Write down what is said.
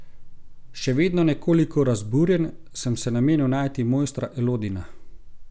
Še vedno nekoliko razburjen sem se namenil najti mojstra Elodina.